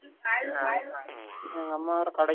நான் இப்போ தான் போயிடு வந்தேன்